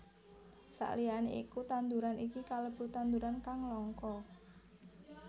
Saliyané iku tanduran iki kalebu tanduran kang langka